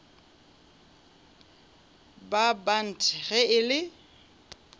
ba bant ge e le